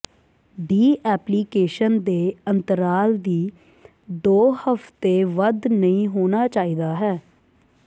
D application ਦੇ ਅੰਤਰਾਲ ਦੀ ਦੋ ਹਫਤੇ ਵੱਧ ਨਹੀ ਹੋਣਾ ਚਾਹੀਦਾ ਹੈ